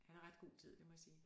Han er ret god til det det må jeg sige